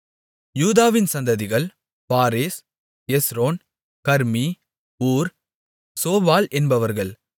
யூதாவின் சந்ததிகள் Perez Hezron Carmi Hur Shobal என்பவர்கள்